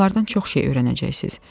Onlardan çox şey öyrənəcəksiniz.